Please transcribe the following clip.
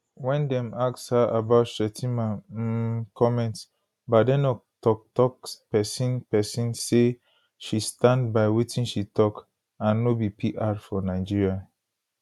wen dem ask her about shettima um comments badenoch toktok pesin pesin say she stand by wetin she tok and no be pr for nigeria